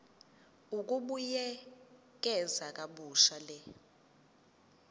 ukubuyekeza kabusha le